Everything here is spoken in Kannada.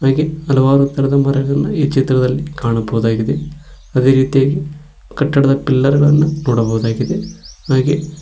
ಹಾಗೆ ಹಲವಾರು ತರದ ಮರಗಳನ್ನ ಈ ಚಿತ್ರದಲ್ಲಿ ಕಾಣಬಹುದಾಗಿದೆ ಅದೇರೀತಿಯಾಗಿ ಕಟ್ಟಡದ ಪಿಲ್ಲರ್ ಗಳನ್ನ ನೋಡಬಹುದಾಗಿದೆ ಹಾಗೆ--